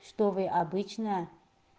что вы обычно